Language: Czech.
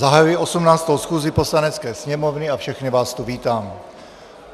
Zahajuji 18. schůzi Poslanecké sněmovny a všechny vás tu vítám.